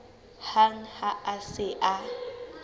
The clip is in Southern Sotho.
hang ha a se a